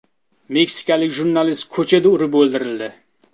Meksikalik jurnalist ko‘chada urib o‘ldirildi.